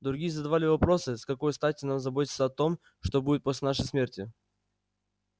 другие задавали вопросы с какой стати нам заботиться о том что будет после нашей смерти